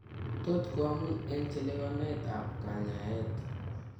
Tot ko amun eng' chelewanet ab kanyaeet